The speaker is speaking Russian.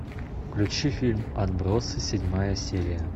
включи фильм отбросы седьмая серия